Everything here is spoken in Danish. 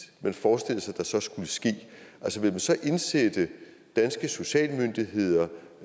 man forestiller sig så skulle ske altså vil man så indsætte danske socialmyndigheder